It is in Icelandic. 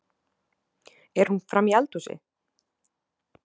Er hún frammi í eldhúsi?